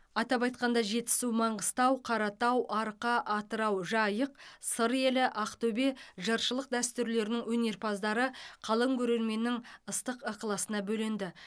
атап айтқанда жетісу маңғыстау қаратау арқа атырау жайық сыр елі ақтөбе жыршылық дәстүрлерінің өнерпаздары қалың көрерменнің ыстық ықыласына бөленді